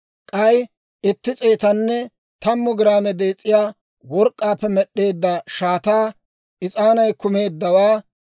k'ay itti s'eetanne tammu giraame dees'iyaa work'k'aappe med'd'eedda shaataa, is'aanay kumeeddawaa;